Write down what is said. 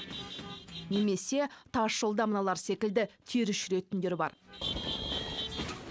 немесе тасжолда мыналар секілді теріс жүретіндер бар